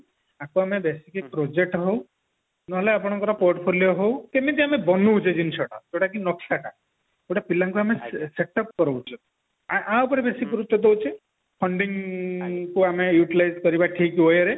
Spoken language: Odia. ଟାକୁ ଆମେ basically project ହଉ ନହେଲେ ଆପଣଙ୍କର portfolio ହଉ କେମିତି ଆମେ ବନୋଉଛେ ଜିନିଷ ଯୋଉଟା କି ନକ୍ସା ଟା ଯୋଉଟା ପିଲାଙ୍କୁ ଆମେ setup କରୋଉଛେ ଆ ଉପରେ ବେଶୀ ଗୁରୁତ୍ଵ ଦେଉଛେ funding କୁ ଆମେ utilize କରିବା ଠିକ way ରେ